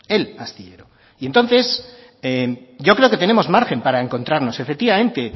el astillero y entonces yo creo que tenemos margen para encontrarnos efectivamente